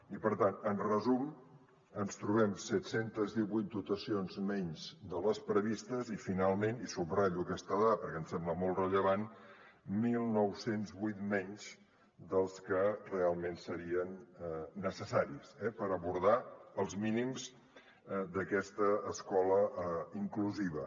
i per tant en resum ens trobem set cents i divuit dotacions menys de les previstes i finalment i subratllo aquesta dada perquè em sembla molt rellevant dinou zero vuit menys dels que realment serien necessaris per abordar els mínims d’aquesta escola inclusiva